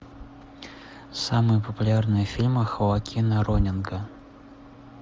самые популярные фильмы хоакина ронинга